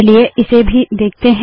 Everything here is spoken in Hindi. चलिए इसे भी देखते है